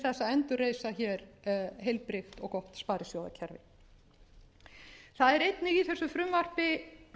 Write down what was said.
að endurreisa hér heilbrigt og gott sparisjóðakerfi það eru einnig í þessu frumvarpi